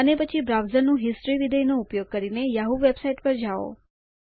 અને પછી બ્રાઉઝરનું હિસ્ટોરી વિધેય નો ઉપયોગ કરીને યાહૂ વેબસાઇટ પર જાઓ